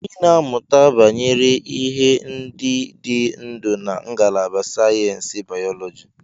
Ị na-amụta banyere ihe ndị dị ndụ na ngalaba sayensị bayoloji.